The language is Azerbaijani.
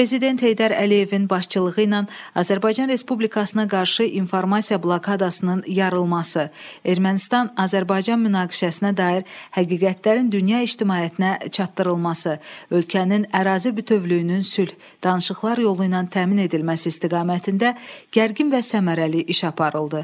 Prezident Heydər Əliyevin başçılığı ilə Azərbaycan Respublikasına qarşı informasiya blokadasının yarılması, Ermənistan-Azərbaycan münaqişəsinə dair həqiqətlərin dünya ictimaiyyətinə çatdırılması, ölkənin ərazi bütövlüyünün sülh danışıqlar yolu ilə təmin edilməsi istiqamətində gərgin və səmərəli iş aparıldı.